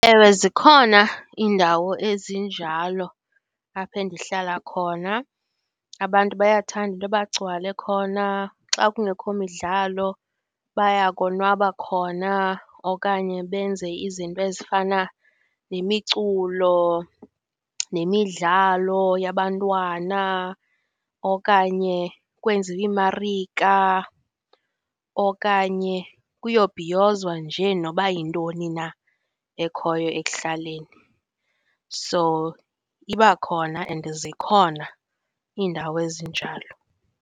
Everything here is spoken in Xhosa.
Ewe zikhona iindawo ezinjalo apha endihlala khona, abantu bayakuthanda into yoba bagcwale khona. Xa kungekho midlalo, baya konwabo khona okanye benze izinto ezifana nemiculo, nemidlalo yabantwana okanye kwenziwe iimarika, okanye kuyobhiyozwa nje noba yintoni na ekhoyo ekuhlaleni, so iba khona and zikhona iindawo ezinjalo.